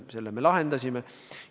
Selle me lahendasime.